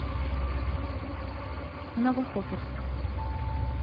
новохоперск